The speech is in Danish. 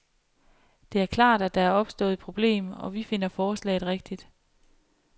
Det er klart, at der er opstået et problem, og vi finder forslaget rigtigt.